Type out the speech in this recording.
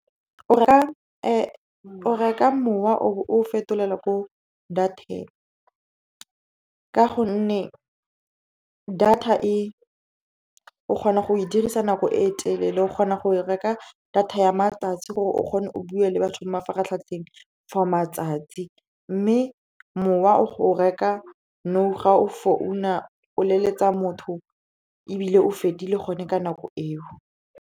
O reka mowa o bo o fetolela ko data-eng ka gonne data o kgona go e dirisa nako e telele. O kgona go reka ka data ya matsatsi gore o kgone o bue le batho mo mafaratlhatlheng for matsatsi, mme mowa o reka nou ga o leletsa motho ebile o fedile gone ka nako eo.